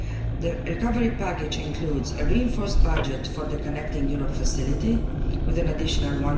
The recovery package includes a reinforced budget for the Connecting Europe facility, with an additional EUR